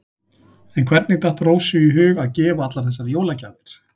En hvernig datt Rósu í hug að gefa allar þessar jólagjafir?